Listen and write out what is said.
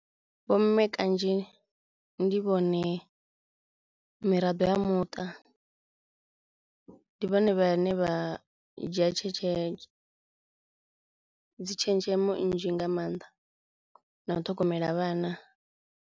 Vho mme kanzhi ndi vhone miraḓo ya muṱa, ndi vhone vhane vha dzhia dzi tshenzhemo nnzhi nga mannḓa na u ṱhogomela vhana.